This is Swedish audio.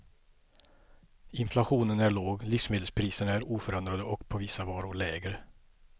Inflationen är låg, livsmedelspriserna är oförändrade och på vissa varor lägre.